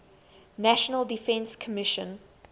national defense commission